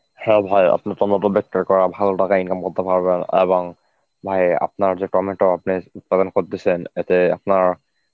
হ্যাঁ ভাই আপনি টমেটো বিক্রি করে ভালো টাকা ইনকাম করতে পারবেন এবং ভাই আপনার যে টমেটো উৎপাদন করতেছেন এতে আপনার.